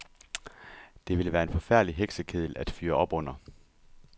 Det ville være en forfærdelig heksekedel at fyre op under.